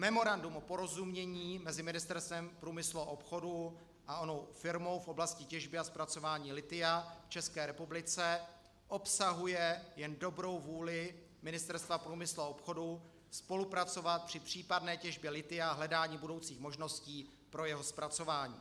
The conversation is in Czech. Memorandum o porozumění mezi Ministerstvem průmyslu a obchodu a onou firmou v oblasti těžby a zpracování lithia v České republice obsahuje jen dobrou vůli Ministerstva průmyslu a obchodu spolupracovat při případné těžbě lithia v hledání budoucích možností pro jeho zpracování.